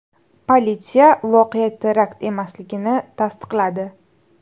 Politsiya voqea terakt emasligini tasdiqladi.